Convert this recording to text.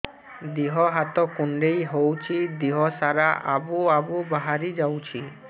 ଦିହ ହାତ କୁଣ୍ଡେଇ ହଉଛି ଦିହ ସାରା ଆବୁ ଆବୁ ବାହାରି ଯାଉଛି